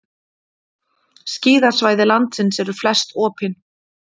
Skíðasvæði landsins eru flest opin